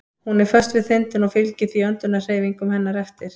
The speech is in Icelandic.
Hún er föst við þindina og fylgir því öndunarhreyfingum hennar eftir.